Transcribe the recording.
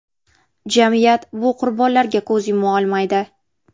Jamiyat bu qurbonlarga ko‘z yuma olmaydi.